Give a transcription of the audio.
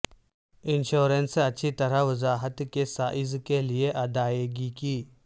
insurance اچھی طرح وضاحت کے سائز کے لئے ادائیگی کی